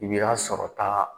I y'a sɔrɔ ta